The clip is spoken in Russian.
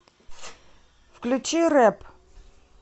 включи рэп